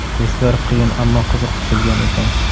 Testlar qiyin ammo qiziq tuzilgan ekan.